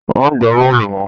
Má gba bóòlù mọ!